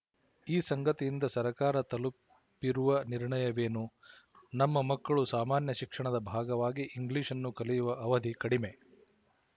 ಈ ಸಂಗತಿಯಿಂದ ಸರಕಾರ ತಲುಪಿರುವ ನಿರ್ಣಯವೇನು ನಮ್ಮ ಮಕ್ಕಳು ಸಾಮಾನ್ಯ ಶಿಕ್ಷಣದ ಭಾಗವಾಗಿ ಇಂಗ್ಲಿಶ್‌ನ್ನು ಕಲಿಯುವ ಅವಧಿ ಕಡಿಮೆ